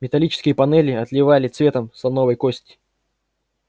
металлические панели отливали цветом слоновой кости